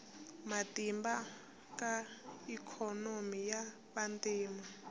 matimba ka ikhonomi ya vantima